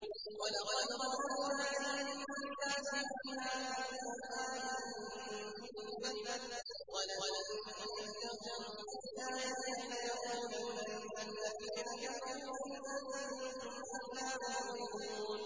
وَلَقَدْ ضَرَبْنَا لِلنَّاسِ فِي هَٰذَا الْقُرْآنِ مِن كُلِّ مَثَلٍ ۚ وَلَئِن جِئْتَهُم بِآيَةٍ لَّيَقُولَنَّ الَّذِينَ كَفَرُوا إِنْ أَنتُمْ إِلَّا مُبْطِلُونَ